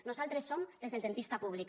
nosaltres som les del dentista públic